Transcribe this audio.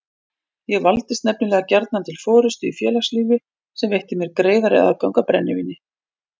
Ég valdist nefnilega gjarnan til forystu í félagslífi sem veitti mér greiðari aðgang að brennivíni.